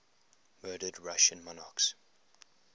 murdered russian monarchs